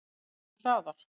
Farðu hraðar.